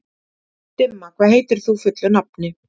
Dimma, hvað heitir þú fullu nafni?